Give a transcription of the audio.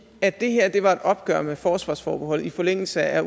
at det her var et opgør med forsvarsforbeholdet i forlængelse af